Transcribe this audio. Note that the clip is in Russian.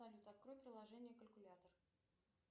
салют открой приложение калькулятор